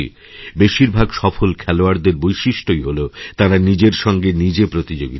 বেশিরভাগ সফল খেলোয়াড়দের বৈশিষ্ট্যই হল তাঁরা নিজের সঙ্গে নিজে প্রতিযোগিতা করেন